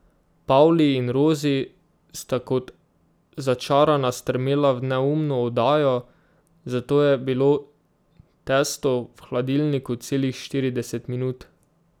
Pavli in Rozi sta kot začarana strmela v neumno oddajo, zato je bilo testo v hladilniku celih štirideset minut.